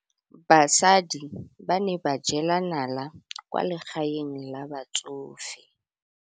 Basadi ba ne ba jela nala kwaa legaeng la batsofe.